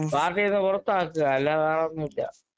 പാർട്ടീന്ന് പുറത്താക്കുക അല്ലാതെ വേറൊന്നുമില്ല